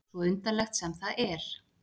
Svo undarlegt sem það er.